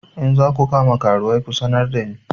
In za ku kama karuwai ku sanar da ni!